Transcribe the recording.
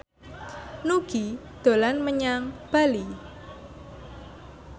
Nugie dolan menyang Bali